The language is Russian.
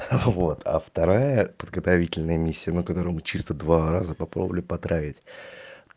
вот а вторая подготовительная миссия ну которую мы чисто два раза попробовали потравить